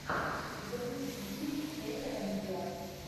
запусти фильм кэмерон диас